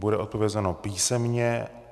Bude odpovězeno písemně.